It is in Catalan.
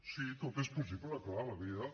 sí tot és possible clar la vida